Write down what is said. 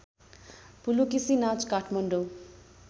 पुलुकिसी नाच काठमाडौँ